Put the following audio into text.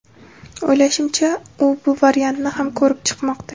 O‘ylashimcha, u bu variantni ham ko‘rib chiqmoqda”.